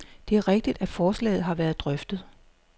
Det er rigtigt, at forslaget har været drøftet.